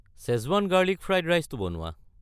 Schezwan garlic fried ৰাইচটো বনোৱা।